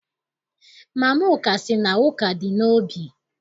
Mama Amaka sị na ụka dị n'obi.